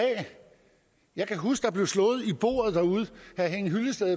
jeg kan huske at